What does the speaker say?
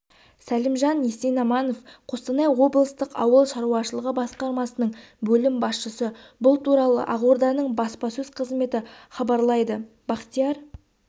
сәлімжан есенаманов қостанай облыстық ауыл шаруашылығы басқармасының бөлім басшысы бұл туралы ақорданың баспасөз қызметі хабарлайды бақтияр